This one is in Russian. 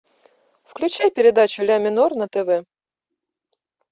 включай передачу ля минор на тв